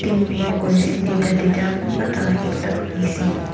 teamwork kuriase duita duita kunba toh ekta kuriase.